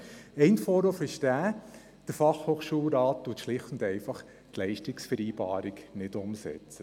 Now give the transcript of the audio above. Der eine Vorwurf ist, dass der Fachhochschulrat die Leistungsvereinbarung nicht umsetzt.